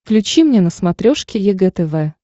включи мне на смотрешке егэ тв